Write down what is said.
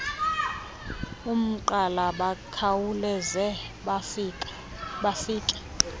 umgqala bakhawuleze bafike